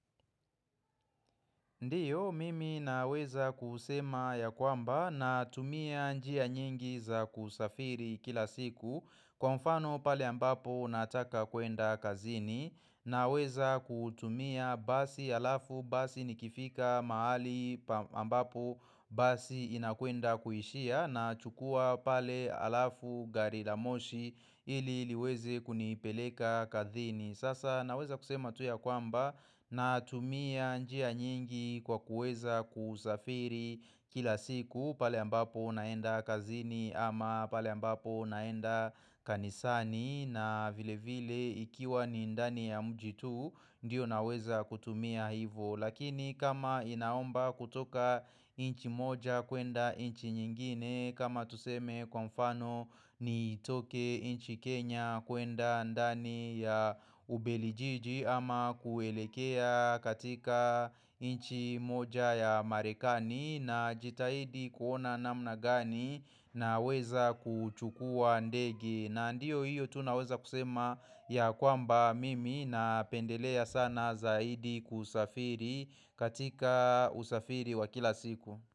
Ndiyo, mimi naweza kusema ya kwamba na tumia njia nyingi za kusafiri kila siku Kwa mfano pale ambapo nataka kwenda kazini Naweza kutumia basi alafu basi nikifika mahali ambapo basi inakwenda kuishia na chukua pale alafu gari la moshi ili liweze kunipeleka kazini Sasa naweza kusema tu ya kwamba na tumia njia nyingi kwa kuweza kusafiri kila siku pale ambapo naenda kazini ama pale ambapo naenda kanisani na vile vile ikiwa ni ndani ya mji tu Ndiyo naweza kutumia hivo Lakini kama inaomba kutoka inchi moja kuenda inchi nyingine kama tuseme kwa mfano ni toke inchi Kenya kuenda ndani ya ubelijiji ama kuelekea katika inchi moja ya marekani na jitahidi kuona namna gani na weza kuchukua ndege na ndio hiyo tu naweza kusema ya kwamba mimi na pendelea sana zaidi kusafiri katika usafiri wa kila siku.